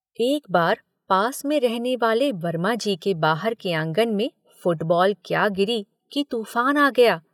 एक बार पास में रहने वाले वर्माजी के बाहर के आंगन में फुटबॉल क्या गिरी कि तूफ़ान आ गया?